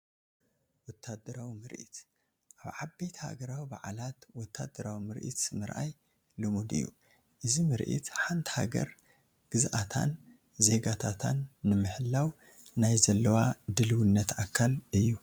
ወታደራዊ ምርኢት-ኣብ ዓበይቲ ሃገራዊ በዓላት ወታደራዊ ምርኢት ምርኣይ ልሙድ እዩ፡፡ እዚ ምርዒት ሓንቲ ሃገር ግዝኣታን ዜጋታታን ንምህላው ናይ ዘለዋ ድልውነት ኣካል እዩ፡፡